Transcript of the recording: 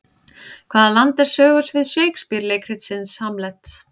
Hvaða land er sögusvið Shakespeare leikritsins Hamlet?